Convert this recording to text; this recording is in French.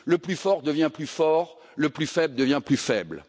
Le plus fort devient plus fort et le plus faible devient plus faible.